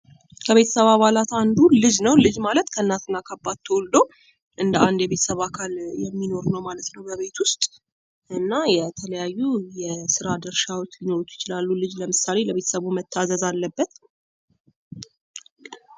ከቤተሰብ አባላት አንዱ ልጅ ነው ። ልጅ ማለት ከእናት እና ከአባት ተወልዶ እንደ አንድ የቤተሰብ አካል የሚኖር ነው ማለት ነው በቤት ውስጥ እና የተለያዩ የስራ ድርሻዎች ሊኖሩት ይችላሉ። ልጅ ለምሳሌ ለቤተሰቡ መታዘዝ አለበት ።